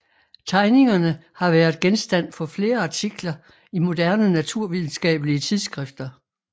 Tegningerne har vært genstand for flere artikler i moderne naturvidenskabelige tidsskrifter